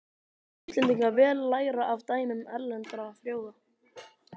Mættu Íslendingar vel læra af dæmum erlendra þjóða.